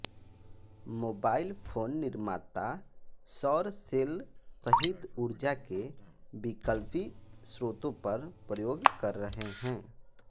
mobile phone निर्माता सौर cell सहित ऊर्जा के विकल्पी स्रोतों पर प्रयोग कर रहे हैं